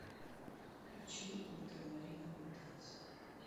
включи ультрамариновые танцы